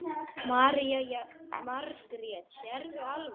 Jóhanna Margrét: Sérðu alveg?